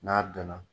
N'a donna